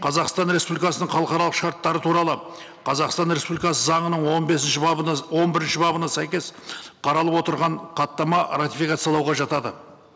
қазақстан республикасының халықаралық шарттары туралы қазақстан республикасы заңының он бесінші бабына он бірінші бабына сәйкес қаралып отырған хаттама ратификациялауға жатады